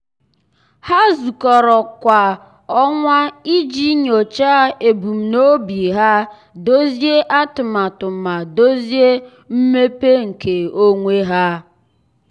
há zùkọ́rọ́ kwa ọnwa iji nyòcháá ebumnobi ha ma dòzìé atụmatụ ma dòzìé atụmatụ mmepe nke onwe ha.